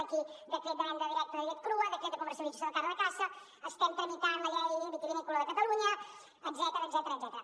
aquí decret de venda directa de llet crua decret de comercialització de carn de caça estem tramitant la llei vitivinícola de catalunya etcètera